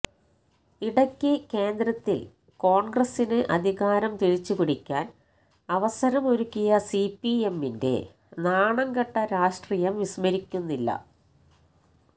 ഇടയ്ക്ക് കേന്ദ്രത്തില് കോണ്ഗ്രസിന് അധികാരം തിരിച്ചുപിടിക്കാന് അവസരം ഒരുക്കിയ സിപിഎമ്മിന്റെ നാണംകെട്ട രാഷ്ട്രീയം വിസ്മരിക്കുന്നില്ല